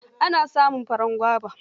Ana samun farar goba.